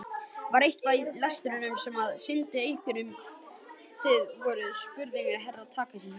Var eitthvað í lestinni sem sýndi hverjir þið voruð spurði Herra Takashi.